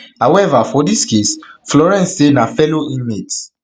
however for dis case florence say na fellow inmates